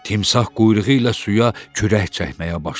Timsah quyruğu ilə suya kürək çəkməyə başladı.